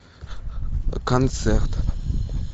концерт